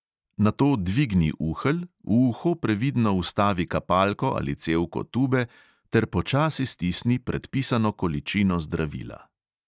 Nato dvigni uhelj, v uho previdno vstavi kapalko ali cevko tube ter počasi stisni predpisano količino zdravila.